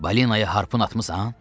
Balinaya harpun atmısan?